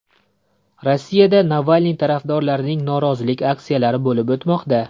Rossiyada Navalniy tarafdorlarining norozilik aksiyalari bo‘lib o‘tmoqda .